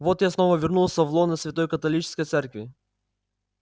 вот я снова вернулся в лоно святой католической церкви